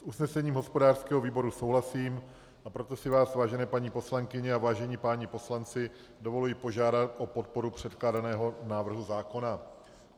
S usnesením hospodářského výboru souhlasím, a proto si vás, vážené paní poslankyně a vážení páni poslanci, dovoluji požádat o podporu předkládaného návrhu zákona.